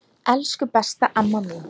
Elsku, besta amma mín.